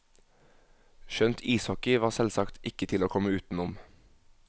Skjønt ishockey var selvsagt ikke til å komme utenom.